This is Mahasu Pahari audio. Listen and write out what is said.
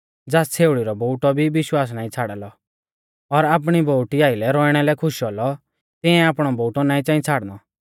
ज़ास छ़ेउड़ी रौ बोउटौ भी विश्वास नाईं छ़ाड़ा लौ और आपणी बोउटी आइलै रौइणा लै खुश औलौ तियांऐ आपणौ बोउटौ नाईं च़ाई छ़ाड़नौ